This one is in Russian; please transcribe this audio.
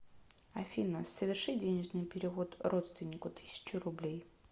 афина соверши денежный перевод родственнику тысячу рублей